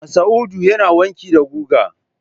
Masa'udu yana wanki da guga.